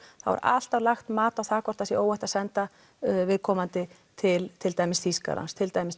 er alltaf lagt mat á það hvort það sé óhætt að senda viðkomandi til til dæmis Þýskalands til dæmis